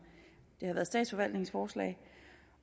det har været statsforvaltningens forslag